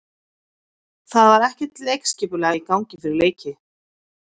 Það var ekkert leikskipulag í gangi fyrir leiki.